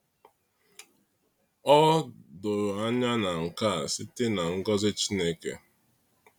Ọ doro anya na nke a sitere na ngọzi Chineke.